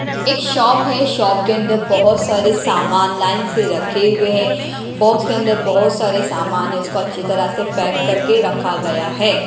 एक शॉप है शॉप के अंदर बहुत सारे सामान लाइन से रखे हुए हैं बॉक्स के अंदर बहुत सारे सामान है उसको अच्छी तरह से पैक करके रखा गया है।